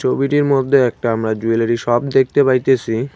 ভিডিওর মধ্যে একটা আমরা জুয়েলারি শপ দেখতে পাইতেছি।